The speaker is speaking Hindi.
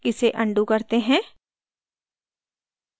इसे अन्डू करते हैं